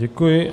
Děkuji.